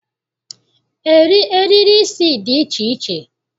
Eriri isi dị iche iche